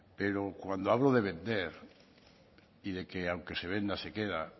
pero cuando hablo de vender y de que aunque se venda que queda